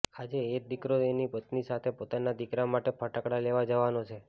આજે એ જ દીકરો એની પત્ની સાથે પોતાના દીકરા માટે ફટાકડા લેવા જવાનો છે